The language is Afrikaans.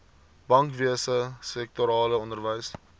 bankwese sektorale onderwys